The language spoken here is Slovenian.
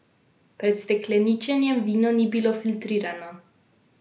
Pred stekleničenjem vino ni bilo filtrirano.